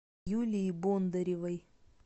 юлии бондаревой